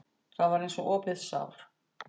Það var eins og opið sár.